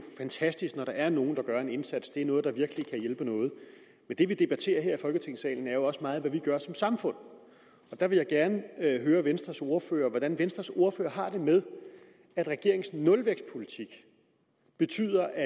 fantastisk når der er nogen der gør en indsats det er noget der virkelig hjælper noget men det vi debatterer her i folketingssalen er jo også meget hvad vi gør som samfund her vil jeg gerne høre venstres ordfører hvordan venstres ordfører har det med at regeringens nulvækstpolitik betyder at